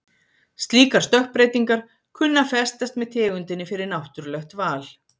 Slíkar stökkbreytingar kunna að festast með tegundinni fyrir náttúrlegt val.